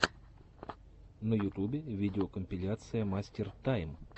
на ютубе видеокомпиляция мастер тайм